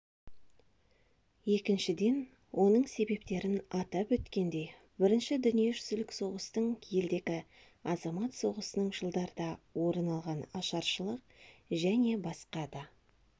екіншіден оның себептерін атап өткендей бірінші дүниежүзілік соғыстың елдегі азамат соғысының жылдарда орын алған ашаршылық және басқа да